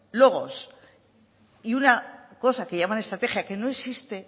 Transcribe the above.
logos y una cosa que llaman estrategia que no existe